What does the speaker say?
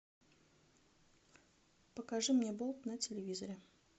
покажи мне болт на телевизоре